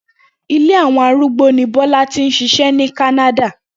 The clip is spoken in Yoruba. Ilé àwo̩n arúgbó ni Bó̩lá ti ń s̩is̩é̩ ní Kánádà